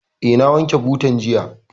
Eh, na wanke butan jiya